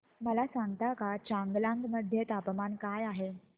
मला सांगता का चांगलांग मध्ये तापमान काय आहे